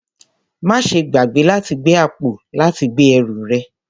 Máa ṣe gbàgbé láti gbé àpò láti gbé ẹrù rẹ